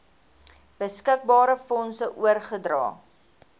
beskikbare fondse oorgedra